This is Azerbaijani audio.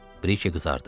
Brike qızardı.